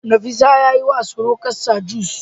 Nefisat yayiwa surukarsa juice